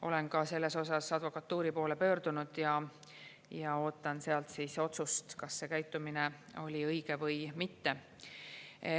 Olen ka selles osas advokatuuri poole pöördunud ja ootan sealt otsust, kas see käitumine oli õige või mitte.